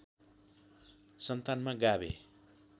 सन्तानमा गाभे